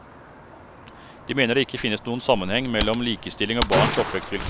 De mener det ikke finnes noen sammenheng mellom likestilling og barns oppvekstvilkår.